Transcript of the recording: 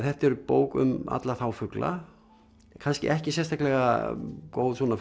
þetta er bók um alla þá fugla kannski ekki sérstaklega góð svona